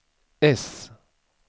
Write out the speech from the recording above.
S